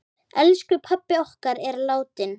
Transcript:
Elsku pabbi okkar er látinn.